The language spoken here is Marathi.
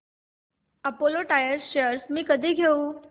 अपोलो टायर्स शेअर्स मी कधी घेऊ